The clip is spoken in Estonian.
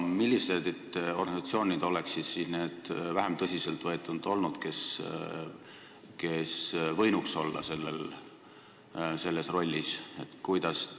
Millised organisatsioonid on siis need vähem tõsiselt võetavad, mis võinuks selles rollis olla?